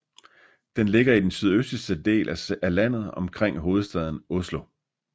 Den ligger i den sydøstligste del af landet omkring hovedstaden Oslo